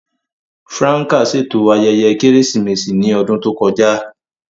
Franca ṣeto ayẹyẹ Keresimesi ni ọdun to kọja.